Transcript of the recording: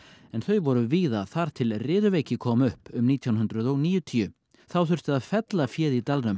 en þau voru víða þar til riðuveiki kom upp um nítján hundruð og níutíu þá þurfti að fella féð í dalnum